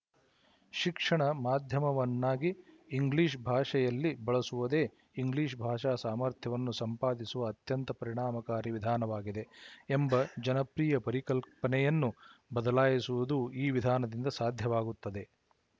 ಶಿಕ್ಷಣ ಮಾಧ್ಯಮವನ್ನಾಗಿ ಇಂಗ್ಲಿಶ ಭಾಷೆಯಲ್ಲಿ ಬಳಸುವುದೇ ಇಂಗ್ಲಿಶ ಭಾಷಾ ಸಾಮರ್ಥ್ಯವನ್ನು ಸಂಪಾದಿಸುವ ಅತ್ಯಂತ ಪರಿಣಾಮಕಾರಿ ವಿಧಾನವಾಗಿದೆ ಎಂಬ ಜನಪ್ರಿಯ ಪರಿಕಲ್ಪನೆಯನ್ನು ಬದಲಾಯಿಸುವುದೂ ಈ ವಿಧಾನದಿಂದ ಸಾಧ್ಯವಾಗುತ್ತದೆ